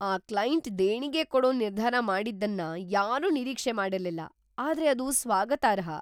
ಆ ಕ್ಲೈಂಟ್ ದೇಣಿಗೆ ‌ಕೊಡೋ ನಿರ್ಧಾರ ಮಾಡಿದ್ದನ್ನ ಯಾರೂ ನಿರೀಕ್ಷೆ ಮಾಡಿರ್ಲಿಲ್ಲ, ಆದ್ರೆ ಅದು ಸ್ವಾಗತಾರ್ಹ!